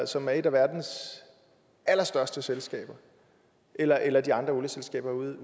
som er et af verdens allerstørste selskaber eller eller de andre olieselskaber ude